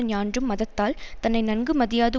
ஞான்றும் மதத்தால் தன்னை நன்கு மதியாது